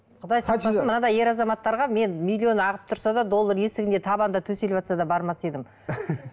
құдай сақтасын мынандай ер азаматтарға мен миллион ағып тұрса да доллар есігінде табанында төсіліватса да бармас едім